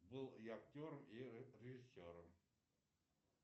был и актером и режиссером